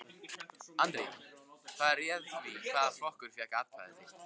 Andri: Hvað réð því hvaða flokkur fékk atkvæði þitt?